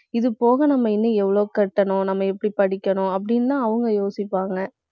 இது போக நம்ம இன்னும் எவ்வளவு கட்டணும் நம்ம எப்படி படிக்கணும் அப்படின்னுதான் அவங்க யோசிப்பாங்க